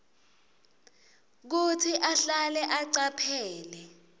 kutsi ahlale acaphele